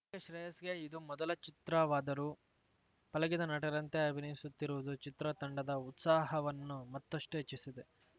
ಶ್ರೇಯಸ್‌ಗೆ ಇದು ಮೊದಲ ಚಿತ್ರವಾದರೂ ಪಳಗಿದ ನಟರಂತೆ ಅಭಿನಯಿಸುತ್ತಿರುವುದು ಚಿತ್ರ ತಂಡದ ಉತ್ಸಾಹವನ್ನು ಮತ್ತಷ್ಟುಹೆಚ್ಚಿಸಿದೆ